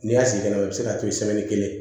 N'i y'a sigi fɛnɛ i bɛ se k'a to yen sɛbɛn kelen